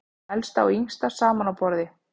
Elsta og yngsti saman á borði